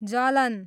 जलन